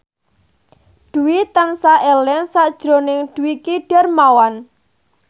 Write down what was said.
Dwi tansah eling sakjroning Dwiki Darmawan